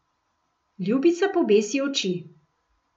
Ljubica pobesi oči.